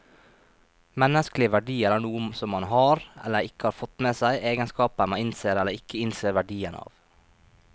Menneskelige verdier er noe som man har, eller ikke har fått med seg, egenskaper man innser eller ikke innser verdien av.